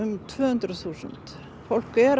tvö hundruð þúsund fólk er